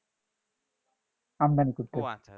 আমদানি করতেছে